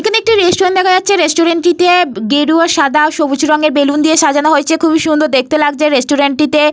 এখানে একটি রেস্টুরেন্ট দেখা যাচ্ছে। রেস্টুরেন্ট -টিতে গেরুয়া সাদা ও সবুজ রংয়ের বেলুন দিয়ে সাজানো রয়েছে। খুবই সুন্দর দেখতে লাগছে। রেস্টুরেন্ট - টিতে --